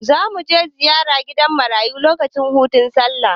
Za mu je ziyara gidan marayu lokacin hutun Sallah.